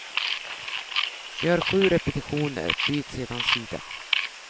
Gör sju repetitioner, byt sedan sida.